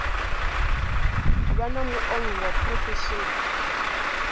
vha na muongi wa phurofesheni